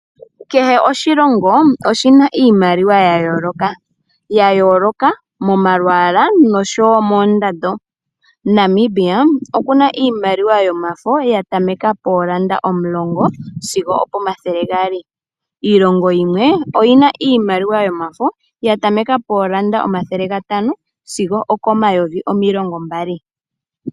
Kehe oshilongo oshina iimaliwa ya yooloka, ya yooloka momalwala nomoondando. Namibia okuna iimaliwa yomafo yatameka poolanda omulongo sigo opoma thele gaali, iilongo yimwe oyina iimaliwa yomafo yatameka poolanda omathela gatano sigo okoma yovi omilongo mbali.